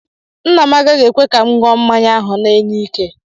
Nna m agaghị ekwe ka m ṅụọ mmanya ahụ na-enye ike.